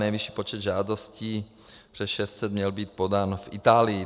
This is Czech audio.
Nejvyšší počet žádostí, přes 600, měl být podán v Itálii.